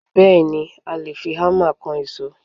Bẹẹni, i a le fi Hámà kan ìṣó.